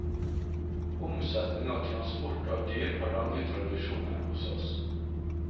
Omsetning og transport av dyr har lange tradisjoner hos oss.